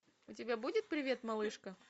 у тебя будет привет малышка